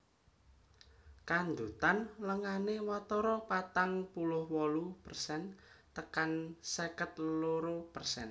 Kandhutan lengané watara patang puluh wolu persen tekan seket loro persen